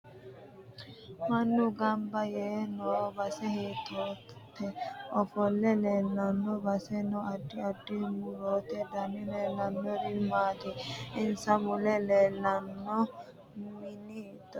Mannu ganbba yee noo base hiitoote ofolle leelano basera noo addi addi murote dani leelishanori maati insa mule leelanno mini hiitooho